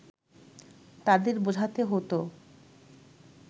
তাদের বোঝাতে হতো